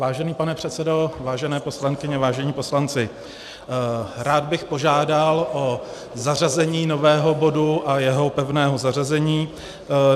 Vážený pane předsedo, vážené poslankyně, vážení poslanci, rád bych požádal o zařazení nového bodu a jeho pevné zařazení.